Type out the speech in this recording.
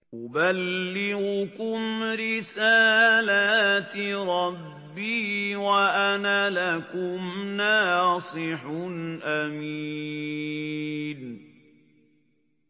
أُبَلِّغُكُمْ رِسَالَاتِ رَبِّي وَأَنَا لَكُمْ نَاصِحٌ أَمِينٌ